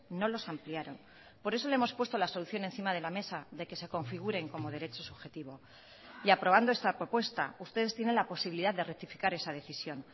no los ampliaron por eso le hemos puesto la solución encima de la mesa de que se configuren como derecho subjetivo y aprobando esta propuesta ustedes tienen la posibilidad de rectificar esa decisión